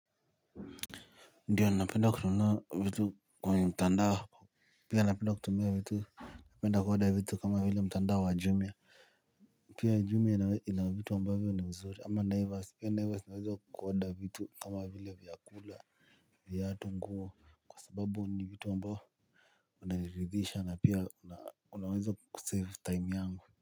Ndiyo napenda kununua vitu kwa mtandao, pia napenda kutumia vitu napenda ku order vitu kama vile mtandao wa jumia. Pia jumia ina vitu ambavyo ni mzuri ama naivas pia naivas unaweza ku order vitu kama vile vyakula viatu, nguo kwa sababu ni vitu ambao wananiridhisha na pia unaweza ku save time yangu.